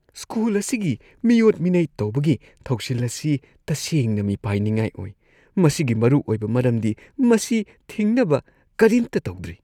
School ꯑꯁꯤꯒꯤ ꯃꯤꯑꯣꯠ-ꯃꯤꯅꯩ ꯇꯧꯕꯒꯤ ꯊꯧꯁꯤꯜ ꯑꯁꯤ ꯇꯁꯦꯡꯅ ꯃꯤꯄꯥꯏꯅꯤꯡꯉꯥꯏ ꯑꯣꯏ ꯃꯁꯤꯒꯤ ꯃꯔꯨ ꯑꯣꯏꯕ ꯃꯔꯝꯗꯤ ꯃꯁꯤ ꯊꯤꯡꯅꯕ ꯀꯔꯤꯝꯇ ꯇꯧꯗ꯭ꯔꯤ ꯫